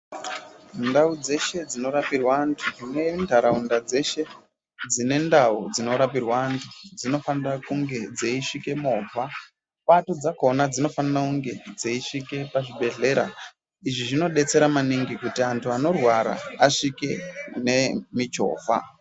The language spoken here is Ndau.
Ndau dzeshe dzinorapirwa antu nentaraunda dzeshe dzine ndau dzinorapirwa antu dzinofanira kunge dzeisvike movha, Pato dzakhona dzinofanira kunge dzeisvike pachibhedhlera. Izvi zvinodetsera maningi kuti antu anorwara asvike nemichovha.